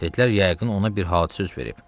Dedilər yəqin ona bir hadisə üz verib.